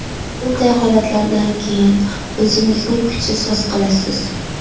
Bunday holatlardan keyin o‘zingizni kuchsiz his qilasiz.